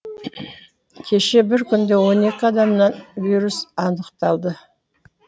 кеше бір күнде он екі адамнан вирус анықталды